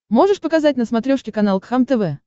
можешь показать на смотрешке канал кхлм тв